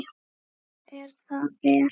Og er það vel.